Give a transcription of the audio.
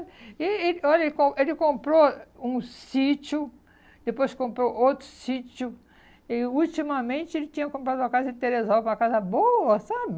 E e, olha, ele com ele comprou um sítio, depois comprou outro sítio e, ultimamente, ele tinha comprado uma casa em Teresópolis, uma casa boa, sabe?